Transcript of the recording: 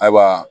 Ayiwa